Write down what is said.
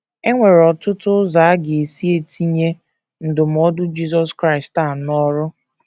E nwere ọtụtụ ụzọ a ga - esi etinye ndụmọdụ Jisọs Kraịst a n’ọrụ.